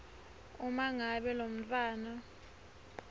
uma ngabe lomntfwana